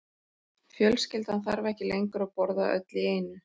Fjölskyldan þarf ekki lengur að borða öll í einu.